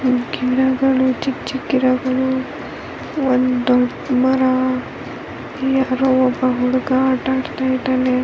ಗಿಡಗಳು ಚಿಕ್ಕ್ ಚಿಕ್ಕ ಗಿಡಗಳು ಒಂದು ದೊಡ್ಡ ಮರ ಯಾರೋ ಒಬ್ಬ ಹುಡುಗ ಅಟ್ ಆಡ್ತಾ ಇದಾನೆ.